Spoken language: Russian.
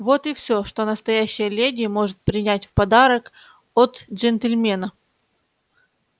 вот и все что настоящая леди может принять в подарок от джентльмена